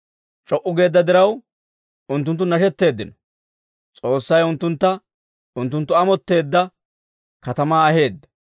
C'o"u geedda diraw, unttunttu nashetteeddino; S'oossay unttuntta unttunttu amotteedda katamaa aheedda.